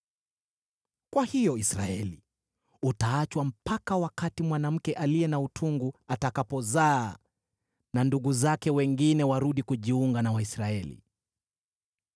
Kwa hiyo Israeli utaachwa mpaka wakati mwanamke aliye na utungu atakapozaa na ndugu zake wengine warudi kujiunga na Waisraeli.